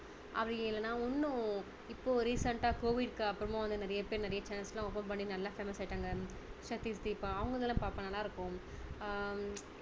அப்படி இல்லன்னா இன்னும் இப்போ recent டா COVID க்கு அப்பறமா வந்து நிறைய பேரு நிறைய channels எல்லாம் open பண்ணி நல்லா famous ஆகிட்டாங்க சதீஷ் தீபா அவங்களது எல்லாம் பார்ப்பேன் நல்லா இருக்கும் ஆஹ்